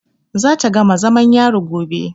Za ta gama zamam yari gobe.